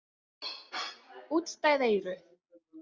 Útstæð eyru.